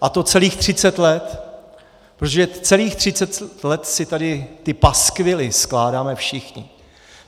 A to celých třicet let, protože celých třicet let si tady ty paskvily skládáme všichni.